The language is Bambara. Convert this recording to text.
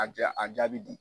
A diya a jaabi di.